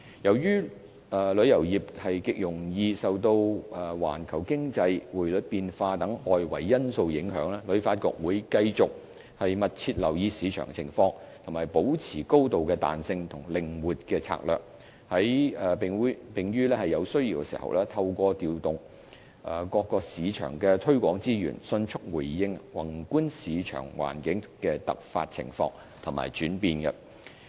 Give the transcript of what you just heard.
由於旅遊業極容易受環球經濟、匯率變化等外圍因素影響，旅發局會繼續密切留意市場情況，保持高度彈性和靈活的策略，並於有需要時，透過調動各個市場的推廣資源，迅速回應宏觀市場環境的突發情況和轉變。